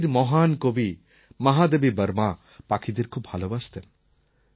হিন্দির মহান কবি মহাদেবী বর্মা পাখিদের খুব ভালবাসতেন